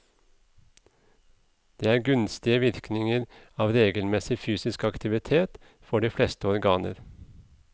Det er gunstige virkninger av regelmessig fysisk aktivitet for de fleste organer.